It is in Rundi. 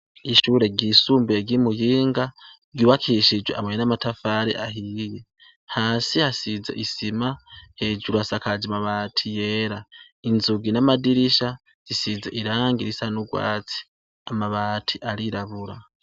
Ishure ryisumbuye ry'i Muyinga ryubakishe amabuye n'amatafari ahiye. Hasi hasize isima, hejuru hasakaje amabati yera. Inzugi n'amadirisha bisize irangi risa n'ugwatsi. Amabati arirabura.